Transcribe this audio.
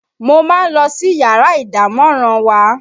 Mo máa ń lọ sí yàrá ìdámọ̀ràn wa